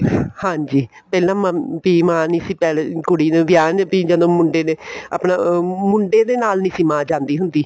ਹਾਂਜੀ ਪਹਿਲਾਂ ਵੀ ਮਾਂ ਨਹੀਂ ਸੀ ਪਹਿਲੇ ਕੁੜੀ ਨੂੰ ਵਿਆਉਣ ਵੀ ਜਦੋਂ ਮੁੰਡੇ ਦੇ ਆਪਣਾ ਮੁੰਡੇ ਦੇ ਨਾਲ ਨਹੀਂ ਸੀ ਮਾਂ ਜਾਂਦੀ ਹੁੰਦੀ